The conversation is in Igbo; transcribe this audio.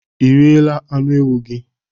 Ị riela anụ ewu gị?